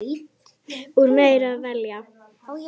Úr meiru að velja!